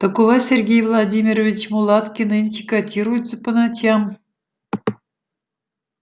так у вас сергей владимирович мулатки нынче котируются по ночам